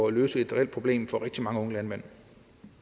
at løse et reelt problem for rigtig mange unge landmænd